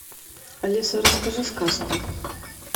алиса расскажи сказку